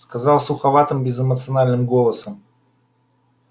сказал суховатым безэмоциональным голосом